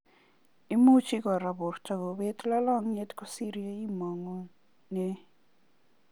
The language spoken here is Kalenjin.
Imuchi kora borto kubet lalangiet kosiri ye imangunee.